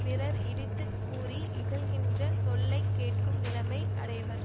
பிறர் இடித்து கூறி இகழ்கின்ற சொல்லை கேட்கும் நிலைமை அடைவர்